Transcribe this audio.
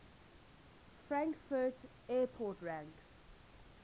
frankfurt airport ranks